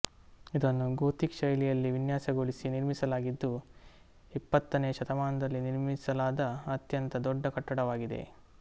ಇದನ್ನು ಗೋಥಿಕ್ ಶೈಲಿಯಲ್ಲಿ ವಿನ್ಯಾಸಗೊಳಿಸಿ ನಿರ್ಮಿಸಲಾಗಿದ್ದು ಇಪ್ಪತ್ತನೇಯ ಶತಮಾನದಲ್ಲಿ ನಿರ್ಮಿಸಲಾದ ಅತ್ಯಂತ ದೊಡ್ಡ ಕಟ್ಟಡವಾಗಿದೆ